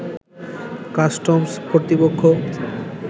customs কর্তৃপক্ষ